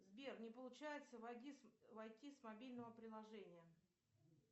сбер не получается войти с мобильного приложения